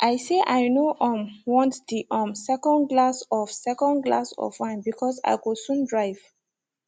i say i no um want the um second glass of second glass of wine because i go soon drive